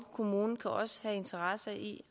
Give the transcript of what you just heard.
kommunen kan også have interesse i